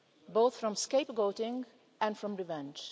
both from scapegoating and from revenge.